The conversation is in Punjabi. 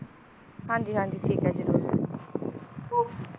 ਹਾਂਜੀ ਹਾਂਜੀ ਠੀਕ ਹੈ ਜ਼ਰੂਰ ਓ~